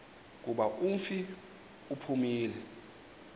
kuba umfi uphumile